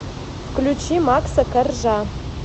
включи макса коржа